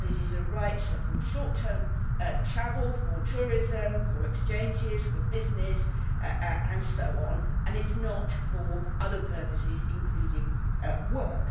that it is a right for short term travel, for tourism, for exchanges, for business and so on, and it is not for other purposes, including work.